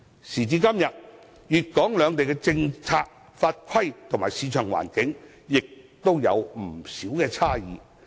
時至今日，粵港兩地的政策法規及市場環境仍然有不少差異。